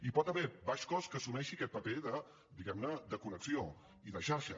hi pot haver baix cost que assumeixi aquest paper diguem ne de connexió i de xarxa